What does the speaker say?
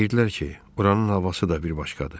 Deyirdilər ki, oranın havası da bir başqadır.